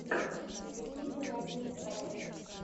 на ютьюбе надинстайл